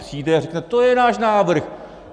Přijde a řekne: To je náš návrh!